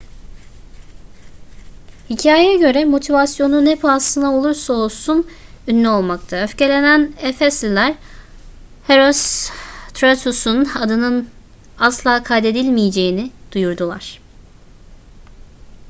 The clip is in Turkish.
hikayeye göre motivasyonu ne pahasına olursa olsun ünlü olmaktı öfkelenen efesliler herostratus'un adının asla kaydedilmeyeceğini duyurdular